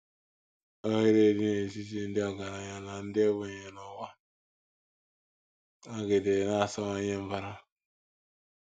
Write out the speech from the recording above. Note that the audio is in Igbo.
Oghere dị n’etiti ndị ọgaranya na ndị ogbenye n’ụwa nọgidere na - asawanye mbara.